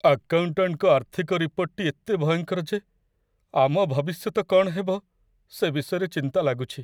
ଆକାଉଣ୍ଟାଣ୍ଟଙ୍କ ଆର୍ଥିକ ରିପୋର୍ଟଟି ଏତେ ଭୟଙ୍କର ଯେ ଆମ ଭବିଷ୍ୟତ କ'ଣ ହେବ, ସେ ବିଷୟରେ ଚିନ୍ତା ଲାଗୁଛି।